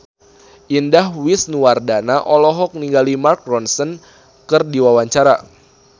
Indah Wisnuwardana olohok ningali Mark Ronson keur diwawancara